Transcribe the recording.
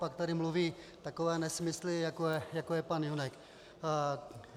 Pak tady mluví takové nesmysly, jako je pan Junek.